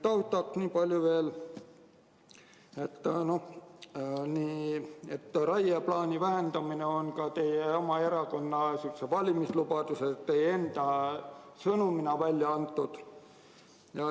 Taustaks nii palju veel, et raieplaani vähendamine on ka teie oma erakonna valimislubadus, samuti teie enda sõnumina välja saadetud.